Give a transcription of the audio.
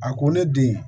A ko ne den